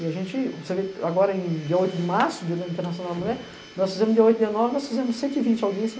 E a gente, você vê, agora em dia oito de março, Dia Internacional da Mulher, nós fizemos dia oito, dia nove, nós fizemos cento e vinte audiências